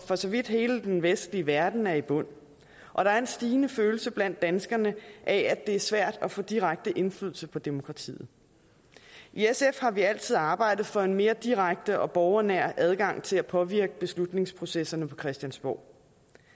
for så vidt hele den vestlige verden er i bund og der er en stigende følelse blandt danskerne af at det er svært at få direkte indflydelse på demokratiet i sf har vi altid arbejdet for en mere direkte og borgernær adgang til at påvirke beslutningsprocesserne på christiansborg